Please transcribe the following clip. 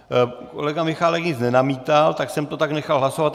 Kolega Michálek nic nenamítal, tak jsem to tak nechal hlasovat.